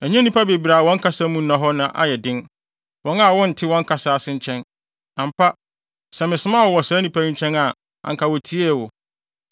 Ɛnyɛ nnipa bebree a wɔn kasa mu nna hɔ na ɛyɛ den, wɔn a wonte wɔn kasa ase nkyɛn. Ampa, sɛ mesomaa wo wɔ saa nnipa yi nkyɛn a, anka wotiee wo.